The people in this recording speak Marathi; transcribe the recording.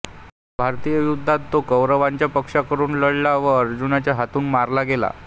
महाभारतीय युद्धात तो कौरवांच्या पक्षातून लढला व अर्जुनाच्या हातून मारला गेला